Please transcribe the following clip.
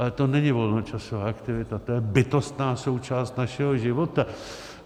Ale to není volnočasová aktivita, to je bytostná součást našeho života.